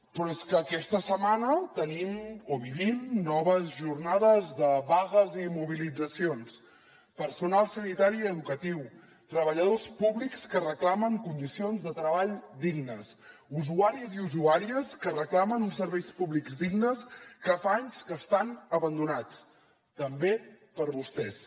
però és que aquesta setmana tenim o vivim noves jornades de vagues i mobilitzacions personal sanitari i educatiu treballadors públics que reclamen condicions de treball dignes usuaris i usuàries que reclamen uns serveis públics dignes que fa anys que estan abandonats també per vostès